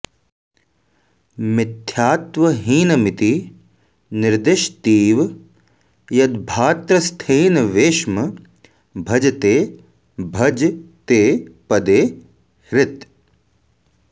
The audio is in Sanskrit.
मिथ्यात्वहीनमिति निर्दिशतीव यद्भाऽ त्रस्थेनवेश्म भजते भज ते पदे हृत्